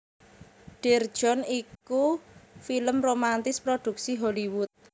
Dear John iku film romantis prodhuksi Hollywood